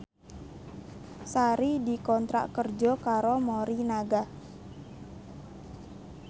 Sari dikontrak kerja karo Morinaga